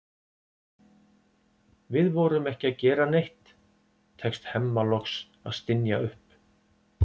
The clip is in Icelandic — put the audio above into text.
Við vorum ekki að gera neitt, tekst Hemma loks að stynja upp.